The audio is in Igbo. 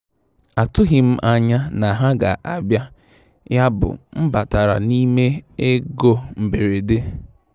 Atụghị m anya na ha ga abịa, yabụ m batara n'ime ego mberede. um